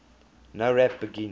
nowrap begin